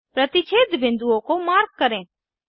प्रतिच्छेद बिन्दुओं को मार्क करें